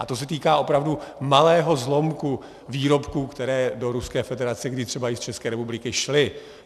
A to se týká opravdu malého zlomku výrobků, které do Ruské federace kdy třeba i z České republiky šly.